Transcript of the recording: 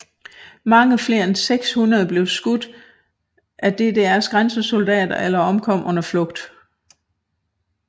Mange flere end 600 blev skudt av DDRs grænsesoldater eller omkom under flugt